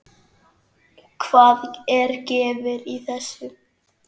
Hvað er gefið í þessu?